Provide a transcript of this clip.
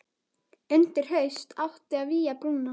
Undir haust átti að vígja brúna.